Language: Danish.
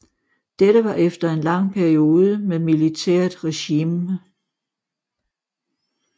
Dette var efter en lang periode med militært regime